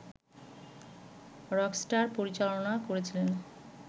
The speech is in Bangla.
রকস্টার পরিচালনা করেছিলেন